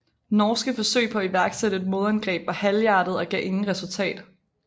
Norske forsøg på at iværksætte et modangreb var halvhjertede og gav ingen resultat